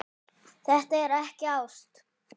Þetta er ekki ást.